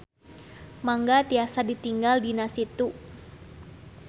Mangga tiasa ditinggal dina Situ.